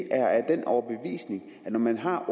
er af den overbevisning at når man har